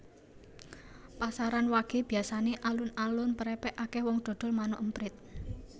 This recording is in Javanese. Pasaran wage biasane alun alun prepek akeh wong dodol manuk emprit